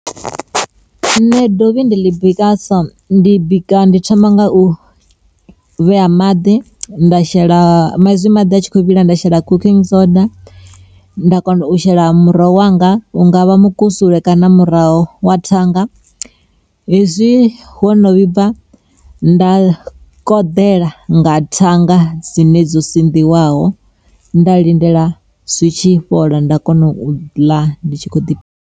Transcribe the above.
Nṋe dovhi ndi ḽi bika so ndi bika ndi thoma nga u vhea maḓi, nda shela ma hezwi maḓi a tshi kho vhila nda shela cooking soda nda kona u shela muroho wanga hungavha mukusule kana na muroho wa thanga. Hezwi wono vhibva, nda koḓela nga thanga dzine dzo sinḓiwaho nda lindela zwitshi fhola nda kona u ḽa ndi tshi kho ḓiphiṋa.